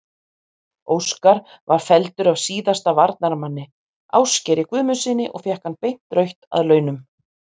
Óskar var felldur af síðasta varnarmanni, Ásgeiri Guðmundssyni og fékk hann beint rautt að launum.